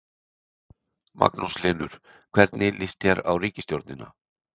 Magnús Hlynur: Hvernig lýst þér á ríkisstjórnina?